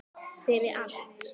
Fyrir allt.